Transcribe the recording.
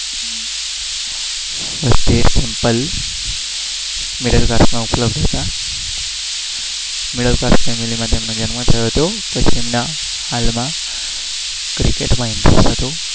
Middle class માં ઉપલબ્ધ હતા.